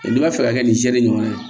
n'i b'a fɛ ka kɛ ni seli ɲɔgɔnna ye